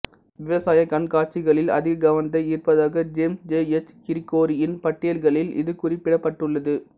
விவசாய கண்காட்சிகளில் அதிக கவனத்தை ஈர்ப்பதாக ஜேம்ஸ் ஜே எச் கிரிகோரியின் பட்டியல்களில் இது குறிப்பிடப்பட்டுள்ளது